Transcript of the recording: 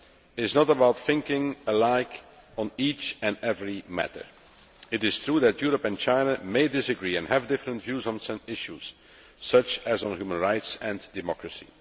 is not about thinking alike on each and every matter. It is true that Europe and China may disagree and have different views on some issues, such as on human rights and democracy.